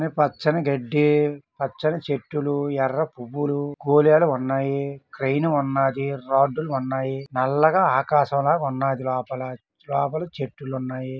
పచ్చని గడ్డి పచ్చని చెట్లు ఎర్ర పువ్వులు బోలెడు ఉన్నాయి క్రేన్ ఉన్నదీ రాడ్డులు ఉన్నది. నల్లగా ఆకాశం లాగ ఉన్నదీ. లోపల లోపల చెట్లు ఉన్నాయి.